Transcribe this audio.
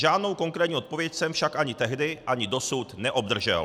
Žádnou konkrétní odpověď jsem však ani tehdy, ani dosud neobdržel.